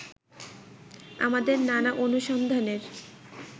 আমাদের নানা অনুসন্ধানের